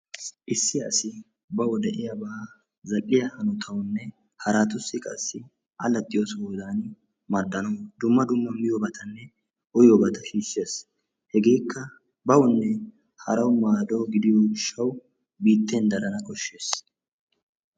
Issi asi baw de'iyaaba zal"iyaa hanotawunne haratussi qassi allaxxiyo sohodan maaddanaw dumma dumma miyyiyoobatanne uyyiyoobata shiishshees. Hegekka bawunne haraw maaddo gidiyo gishshaw biitten darana koshshees.